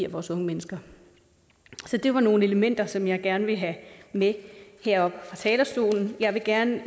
vores unge mennesker så det var nogle elementer som jeg gerne ville have med heroppe fra talerstolen jeg vil gerne